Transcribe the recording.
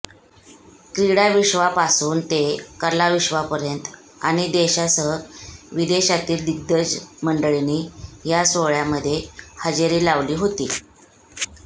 क्रीडाविश्वापासून ते कलाविश्वापर्यंत आणि देशासह विदेशातील दिग्गज मंडळींनी या सोहळ्यामध्ये हजेरी लावली होती